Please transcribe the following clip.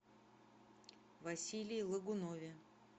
василии логунове